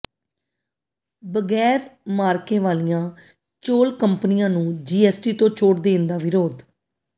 ਬਗੈਰ ਮਾਅਰਕੇ ਵਾਲੀਆਂ ਚੌਲ ਕੰਪਨੀਆਂ ਨੂੰ ਜੀਐਸਟੀ ਤੋਂ ਛੋਟ ਦੇਣ ਦਾ ਵਿਰੋਧ